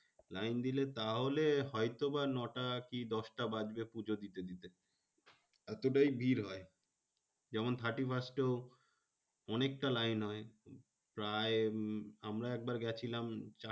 Line দিলে তাহলে হয়তো বা নটা কি দশটা বাজবে পুজো দিতে দিতে। এতটাই ভিড় হয়। যেমন thirty first এও অনেকটা লাইন হয়। প্রায় আমরা একবার গেছিলাম